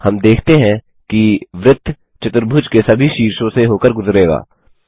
हम देखते हैं कि वृत्त चतुर्भुज के सभी शीर्षों से होकर गुजरेगा